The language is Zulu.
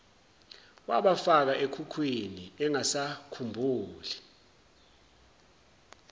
wabafaka ekhukhwini engasakhumbuli